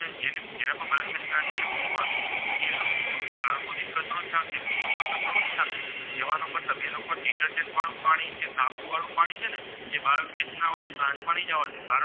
તેનો મતલબ એ લોકો વાળું પાણી કે સાબુ વાળું પાણી છે ને જે બાયોગૅસના Plant માં નાથી જવા દેતા